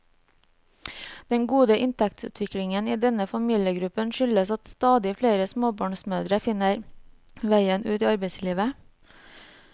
Den gode inntektsutviklingen i denne familiegruppen skyldes at stadig flere småbarnsmødre finner veien ut i arbeidslivet.